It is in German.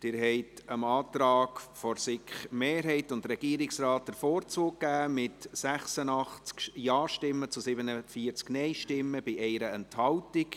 Sie haben dem Antrag von SiK-Mehrheit und Regierungsrat den Vorzug gegeben, mit 86 Ja- gegen 47 Nein-Stimmen bei 1 Enthaltung.